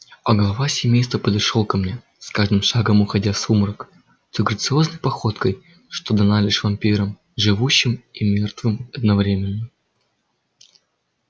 а глава семейства подошёл ко мне с каждым шагом уходя в сумрак той грациозной походкой что дана лишь вампирам живущим и мёртвым одновременно